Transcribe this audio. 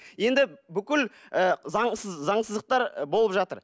енді бүкіл ы заңсыз заңсыздықтар болып жатыр